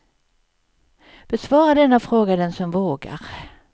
Besvara denna fråga, den som vågar.